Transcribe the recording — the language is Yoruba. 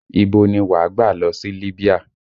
Ibo ni wà gbà lọ sí Libya?